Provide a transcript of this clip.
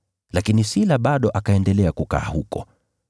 Lakini Sila bado akaendelea kukaa huko.]